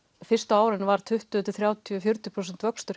fyrstu árin var tuttugu til þrjátíu til fjörutíu prósent vöxtur